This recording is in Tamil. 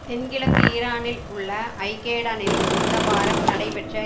தென் கிழக்கு ஈரானில் உள்ள ஜாகேடனில் இந்த வாரம் நடைபெற்ற